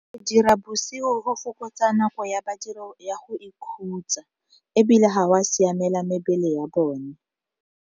Go dira bosigo go fokotsa nako ya badiri ya go ikhutsa, ebile gwa siamela mebele ya bone.